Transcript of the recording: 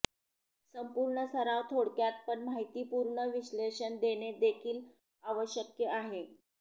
संपूर्ण सराव थोडक्यात पण माहितीपूर्ण विश्लेषण देणे देखील आवश्यक आहे